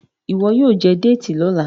ìwo yíò jé Déètì lọla.